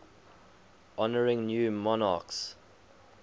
honouring new monarchs